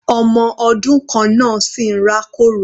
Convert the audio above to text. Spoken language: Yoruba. Ọmọ ọdún kan náà sì ń rá kòrò.